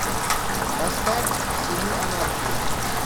поставь сыны анархии